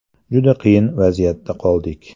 Juda qiyin vaziyatda qoldik.